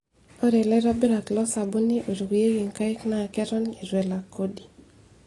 Ore laitobirak losabuni oitukuyieki nkaik naa ketoni eitu elak kodi.